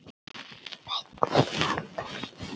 Beinin halda illa.